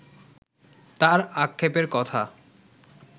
তার আক্ষেপের কথা